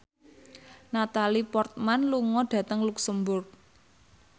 Natalie Portman lunga dhateng luxemburg